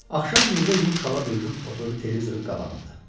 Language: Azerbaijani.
Axşam Mirzə yumşala bürünüb oturdu televizorun qabağında.